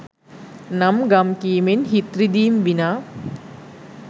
නම් ගම් කීමෙන් හිත් රිදීම් විනා